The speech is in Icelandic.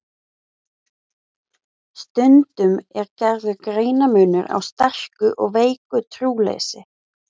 Stundum er gerður greinarmunur á sterku og veiku trúleysi.